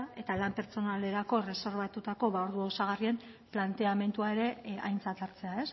eta lan pertsonalerako erreserbatutako ordu osagarrien planteamendua ere aintzat hartzea